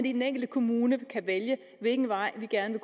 i den enkelte kommune vælge hvilken vej man gerne